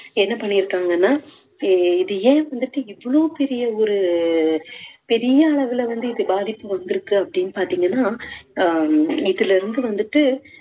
என்ன பண்ணிருக்காங்கன்னா அஹ் இது ஏன் வந்துட்டு இவ்ளோ பெரிய ஒரு பெரிய அளவுல வந்து இது பாதிப்பு வந்துருக்கு அப்படீன்னு பாத்தீங்கன்னா அஹ் இதுலருந்து வந்துட்டு